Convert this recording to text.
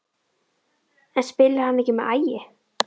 En spilar hann ekki með Ægi?